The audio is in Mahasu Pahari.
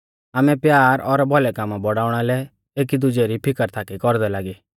आमै प्यार और भौलै कामा बौड़ाउणा लै एकी दुजै री फिकर थाकी कौरदै लागी